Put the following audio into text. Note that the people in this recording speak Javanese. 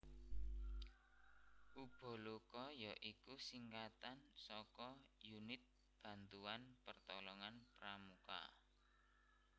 Ubaloka ya iku singkatan saka Unit Bantuan Pertolongan Pramuka